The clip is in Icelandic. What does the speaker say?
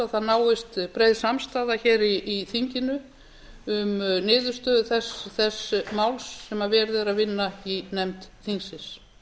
það náist breið samstaða í þinginu um niðurstöðu þess máls sem verið er að vinna í nefnd þingsins